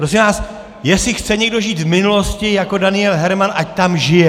Prosím vás, jestli chce někdo žít v minulosti jako Daniel Herman, ať tam žije.